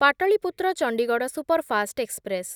Pataliputra Chandigarh superfast express